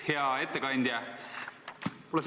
Hea ettekandja!